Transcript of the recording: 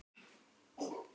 Sonur Viktor Franz.